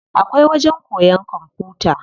Akwai wajen koyan kwamfuta.